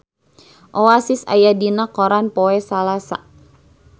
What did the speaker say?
Oasis aya dina koran poe Salasa